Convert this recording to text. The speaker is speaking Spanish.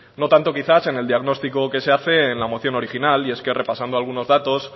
no tanto quizás en el diagnóstico que se hace en la moción original y es que repasando algunos datos